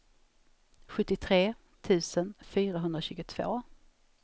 sjuttiotre tusen fyrahundratjugotvå